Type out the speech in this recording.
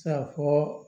Se ka fɔ